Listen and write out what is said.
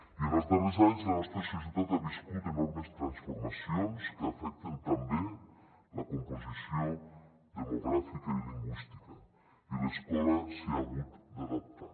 i en els darrers anys la nostra societat ha viscut enormes transformacions que afecten també la composició demogràfica i lingüística i l’escola s’hi ha hagut d’adaptar